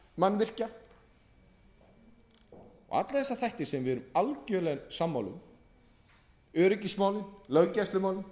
og alla þessa þætti sem við erum algerlega sammála um öryggismálin löggæslumálin